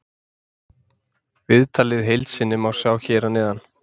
Viðtalið í heild sinni má sjá hér fyrir neðan.